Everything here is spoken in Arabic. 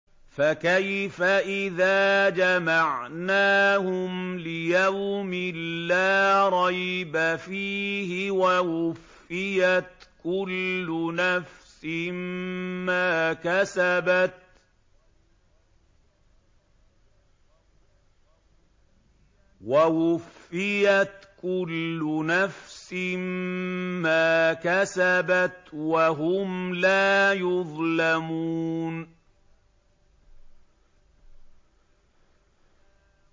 فَكَيْفَ إِذَا جَمَعْنَاهُمْ لِيَوْمٍ لَّا رَيْبَ فِيهِ وَوُفِّيَتْ كُلُّ نَفْسٍ مَّا كَسَبَتْ وَهُمْ لَا يُظْلَمُونَ